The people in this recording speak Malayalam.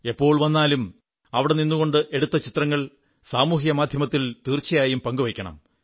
എപ്പോൾ വന്നാലും അവിടെ നിന്നുകൊണ്ട് എടുത്ത ചിത്രങ്ങൾ സാമൂഹ്യ മാധ്യമത്തിൽ തീർച്ചയായും പങ്കുവയ്ക്കണം